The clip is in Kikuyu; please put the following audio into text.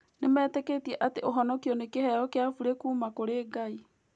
Nĩmetĩkĩtie atĩ ũhonokio nĩ kĩheo kĩa burĩ kuuma kũrĩ Ngai.